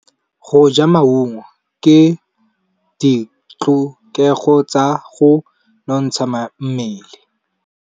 Go ja maungo ke ditlhokegô tsa go nontsha mmele.